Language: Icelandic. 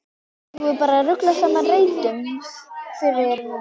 Eigum við bara ekki að rugla saman reitunum, Þuríður mín?